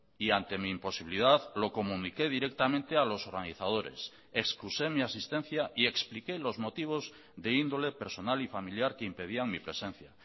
y ante mi imposibilidad lo comuniqué directamente a los organizadores excusé mi asistencia y expliqué los motivos de índole personal y familiar que impedían mi presencia